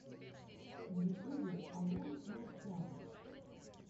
в ютубе алан майнкрафт